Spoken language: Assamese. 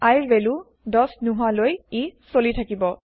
I ৰ ভেলু ১০ নহোৱা লৈ ই চলি থাকিব